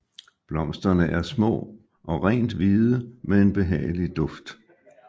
Blomsterne er små og rent hvide med en behagelig duft